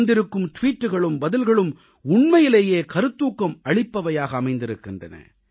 வந்திருக்கும் டுவீட்டுக்களும் பதில்களும் உண்மையிலேயே கருத்தூக்கம் அளிப்பவையாக அமைந்திருக்கின்றன